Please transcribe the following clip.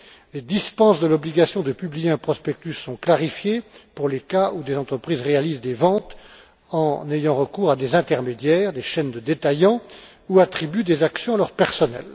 Les dispenses de l'obligation de publier un prospectus sont clarifiées pour les cas où des entreprises réalisent des ventes en ayant recours à des intermédiaires, des chaînes de détaillants ou attribuent des actions à leur personnel.